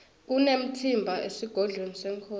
kunemtsimba esigodlweni senkhosi